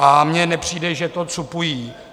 A mně nepřijde, že to cupují.